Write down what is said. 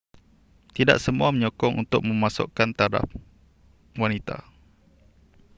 tidak semua menyokong untuk memasukkan taraf wanita